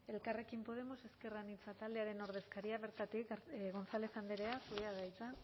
elkarrekin podemos ezker anitza taldearen ordezkaria bertatik gonzález andrea zurea da hitza